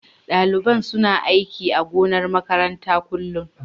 Daliban suna aiki a gonar makaranta kullun.